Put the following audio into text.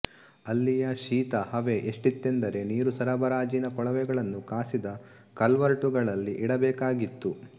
ಅಲ್ಲಿಯ ಶೀತ ಹವೆ ಎಷ್ಟಿತ್ತೆಂದರೆ ನೀರುಸರಬರಾಜಿನ ಕೊಳವೆಗಳನ್ನು ಕಾಸಿದ ಕಲ್ವರ್ಟುಗಳಲ್ಲಿ ಇಡಬೇಕಾಗಿತ್ತು